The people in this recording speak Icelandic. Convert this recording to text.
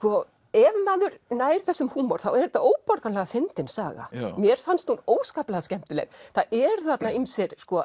ef maður nær þessum húmor þá er þetta óborganlega fyndin saga mér fannst hún óskaplega skemmtileg það eru þarna ýmsir